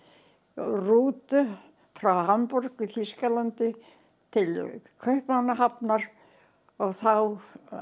rútu frá Hamborg í Þýskalandi til Kaupmannahafnar og þá